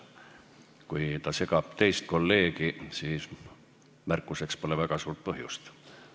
Kui Riigikogu liige segab teist kolleegi, siis märkuseks pole väga suurt põhjust.